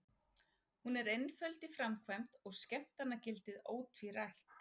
Hún er einföld í framkvæmd og skemmtanagildið ótvírætt.